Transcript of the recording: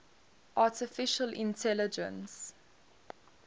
artificial intelligence